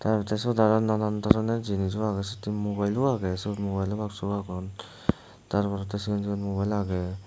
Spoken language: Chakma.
te accha siyot aro banan doroner jinijo agey siyot he mobilo agey suot mobilo baksu agon tar porey cigon cigon mobilo agey.